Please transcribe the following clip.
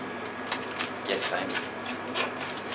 Jessheim